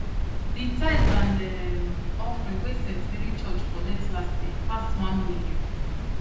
the tithe and um offering wey st mary church collect last year pass one million